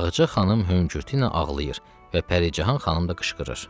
Ağca xanım hüngürtü ilə ağlayır və Pəricahan xanım da qışqırır.